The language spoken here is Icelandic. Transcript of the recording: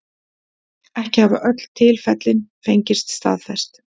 Ekki hafa öll tilfellin fengist staðfest